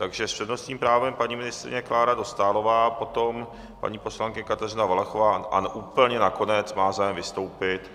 Takže s přednostním právem paní ministryně Klára Dostálová, potom paní poslankyně Kateřina Valachová a úplně nakonec má zájem vystoupit